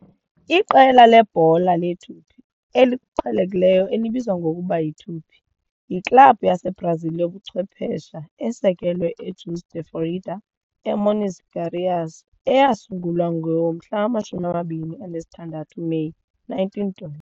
Iqela lebhola lebhola leTupi, eliqhelekileyo elibizwa ngokuba yiTupi, yiklabhu yaseBrazil yobuchwephesha esekelwe eJuiz de Fora, eMinas Gerais eyasungulwa ngo-26 Meyi 1912.